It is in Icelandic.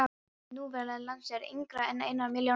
Núverandi landslag er yngra en einnar milljón ára gamalt.